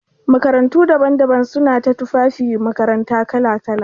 Makarantu daban-daban suna ta tufafin makaranta kala-kala.